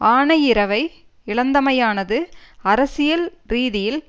ஆனையிறவை இழந்தமையானது அரசியல் ரீதியில்